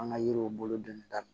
An ka yiriw bolo donni daminɛ